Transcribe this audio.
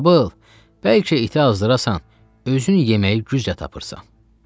“Babıl, bəlkə iti azdırasan, özün yeməyi güclə tapırsan.”